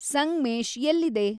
ಸಂಗ್ಮೇಶ್ ಎಲ್ಲಿದೆ